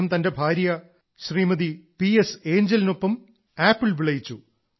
അദ്ദേഹം തന്റെ ഭാര്യ ശ്രീമതി പി എസ് ഏഞ്ചലിനൊപ്പം ആപ്പിൾ വിളയിച്ചു